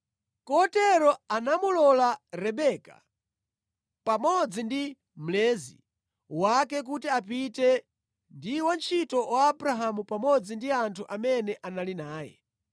Kotero anamulola Rebeka pamodzi ndi mlezi wake kuti apite ndi wantchito wa Abrahamu pamodzi ndi anthu amene anali naye.